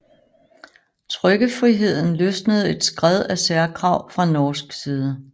Trykkefriheden løsnede et skred af særkrav fra norsk side